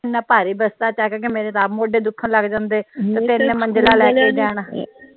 ਇਹਨਾਂ ਭਾਰੀ ਬਸਤਾ ਚੱਕ ਕੇ ਮੇਰੇ ਤਾ ਆਪ ਮੋਢੇ ਦੁਖਣ ਲਗ ਜਾਂਦੇ ਤਿੰਨ ਮੰਜਿਲਾਂ ਲੈ ਕੇ ਜਾਣਾ